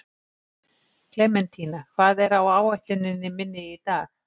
Klementína, hvað er á áætluninni minni í dag?